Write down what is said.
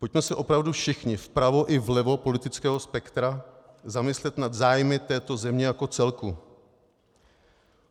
Pojďme se opravdu všichni, vpravo i vlevo politického spektra, zamyslet nad zájmy této země jako celku.